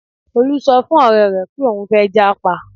Olú sọ fún ọ̀rẹ́ rẹ̀ pé òun fẹ́ jápa